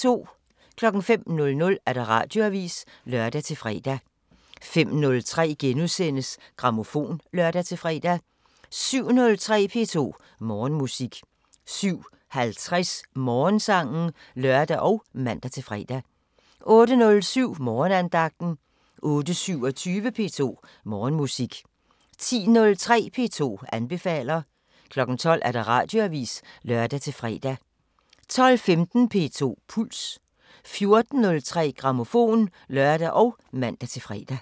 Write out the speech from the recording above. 05:00: Radioavisen (lør-fre) 05:03: Grammofon *(lør-fre) 07:03: P2 Morgenmusik 07:50: Morgensangen (lør og man-fre) 08:07: Morgenandagten 08:27: P2 Morgenmusik 10:03: P2 anbefaler 12:00: Radioavisen (lør-fre) 12:15: P2 Puls 14:03: Grammofon (lør og man-fre)